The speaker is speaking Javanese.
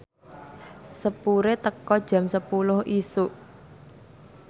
sepure teka jam sepuluh isuk